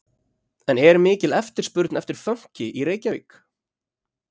En er mikil eftirspurn eftir fönki í Reykjavík?